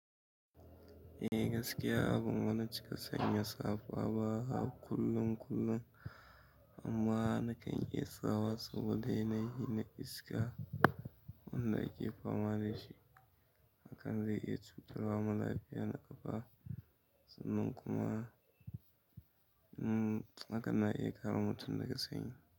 Eh gaskiya abun bani cika sanya safa ba a kullun kullun amma nakan iya sawa saboda yana yi na iska wanda ake fama da shi. Hakan zai iya cutarwa ma lafiya na ƙafa sannan kuma hakan na iya ƙare mutum daga sanyi.